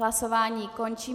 Hlasování končím.